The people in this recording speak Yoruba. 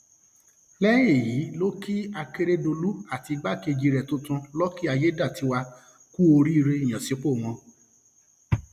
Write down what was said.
lẹyìn èyí ló kí akérèdọlù àti igbákejì rẹ tuntun luc aiyedọtaiwa kú oríire ìyànsípò wọn